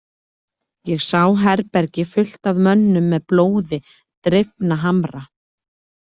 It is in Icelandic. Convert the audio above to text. Ég sá herbergi fullt af mönnum með blóði drifna hamra.